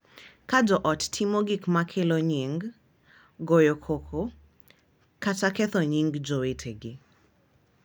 Ka jo ot timo gik ma kelo nying’, goyo koko, kata ketho nying’ jowetegi.